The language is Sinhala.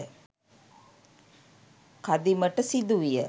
කදිමට සිදු විය